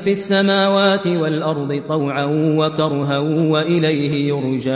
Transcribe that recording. فِي السَّمَاوَاتِ وَالْأَرْضِ طَوْعًا وَكَرْهًا وَإِلَيْهِ يُرْجَعُونَ